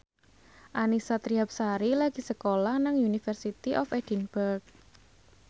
Annisa Trihapsari lagi sekolah nang University of Edinburgh